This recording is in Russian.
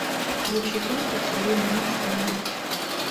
включи фильм поцелуй мамочку на ночь